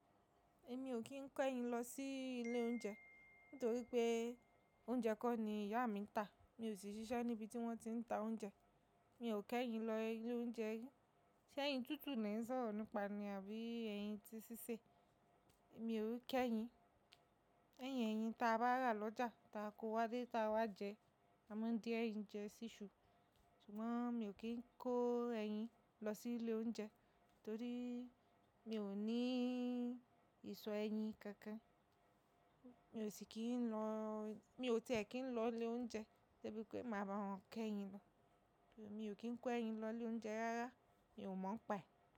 Èmi ò kín kẹ́ yín lọ sí ilé oúnjẹ nítorí pé oúnjẹ kọ́ ni ìyá mi ń tà. Mi ò sì ṣiṣẹ́ níbi tí wọ́n ti ń ta oúnjẹ. Mi ò kẹ́ yín lọ ilé oúnjẹ ri, ṣé ẹyin tútù ni ẹ̀ sọ̀rọ̀ nípa ni àbí ẹyin ti ṣíṣẹ̀? Mi ò ń kẹ́ yín. Ní ẹyín, ẹyin ta bá rà lọ́jà ta kó wá lé ta wá jẹ. A má di ẹyin jẹ́ ṣíṣú Ṣùgbọ́n mi ò kín kó ẹ yin lọ sí ilé oúnjẹ, torí mi ò ní ìsọ ẹ yin kankan. Mi ò sì kí ń lọ-- mi ò tẹ̀ kí ń lọ ilé oúnjẹ sé bí pé máa bá wọn kẹ́ yín lọ. Mi ò kín kọ ẹ yin lọ ilé oúnjẹ rárá, mi ò mọ̀ ọ́n pà.